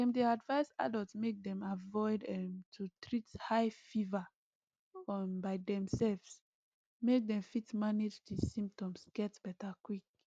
dem dey advise adults make dem avoid um to treat high fever um by demselves make dem fit manage di symptoms get beta quick